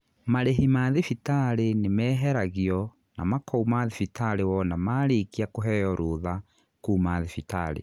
Marihi ma thibitarĩ nĩmeheragio na makouma thibitari wona marikia kũheo rũtha kuuma thibitarĩ.